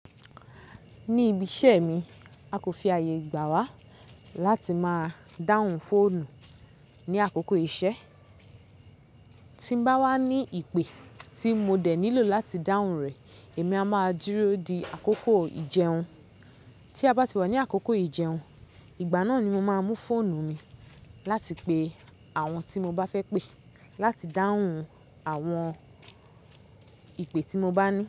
Ní ibi iṣẹ́ mi, a kò fi àyè gbà wá láti máa dáhùn fóònù ní àkókò iṣẹ́. Tí n bá wá ní ìpè tí mo dè nílò láti dáhùn rẹ̀, èmi a máa dúró di àkókò ìjẹun. Tí a bá ti wá ní àkókò ìjẹun, ìgbà náà ni mo máa mú fóònù mi láti pe àwọn tí mo bá fẹ́ pé láti dáhùn àwọn ìpè tí mo bá ní.